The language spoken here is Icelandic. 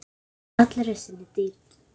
Í allri sinni dýrð.